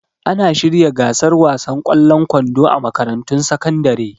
Ana shirya gasar wasan ƙwallon kwando a makarantun sakandare